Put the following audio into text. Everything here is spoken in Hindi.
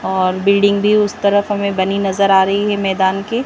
और बिल्डिंग भी उस तरफ हमे बनी नजर आ रही है मैदान के--